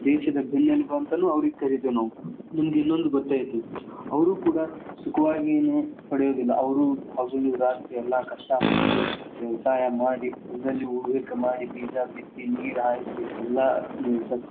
ದೇಶದ ಬೆನ್ನೆಲುಬು ಅಂತಾನೂ ಅವ್ರಿಗ ಕರೀತೀವ್ ನಾವ್ ನಿಮ್ಗ ಇನ್ನೊಂದ್ ಗೊತ್ತ ಐತಿ ಅವ್ರು ಕೂಡಾ ಸುಖವಾಗಿ ಏನು ಪಡೆಯೋದಿಲ್ಲ ಅವ್ರು ಹಗಲು ರಾತ್ರಿ ಎಲ್ಲಾ ಕಷ್ಟ ಪಟ್ಟು ವ್ಯವಸಾಯ ಮಾಡಿ, ಹೊಲದಲ್ಲಿ ಉಳುವಿಕೆ ಮಾಡಿ, ಬೀಜಾ ಬಿತ್ತಿ ನೀರ ಹಾಯಿಸಿ ಎಲ್ಲಾ ಸಸ್ಯ.